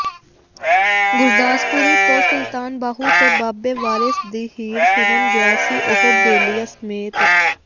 ਗੁਰਦਾਸਪੁਰੀ ਤੋਂ ਸੁਲਤਾਨ ਬਾਹੂ ਤੇ ਬਾਬੇ ਵਾਰਿਸ ਦੀ ਹੀਰ ਸੁਣਨ ਗਿਆ ਸੀ ਉਹ ਬੇਲੀਆਂ ਸਮੇਤ